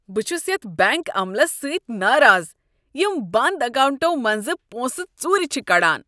بہٕ چھس یتھ بینک عملس سۭتۍ ناراض یم بند اکاونٹو منٛز پونسہٕ ژورِ چھ کڑان۔